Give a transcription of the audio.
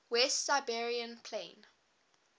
west siberian plain